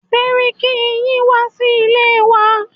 Sẹ́ríkí yín wá sí ilé wa.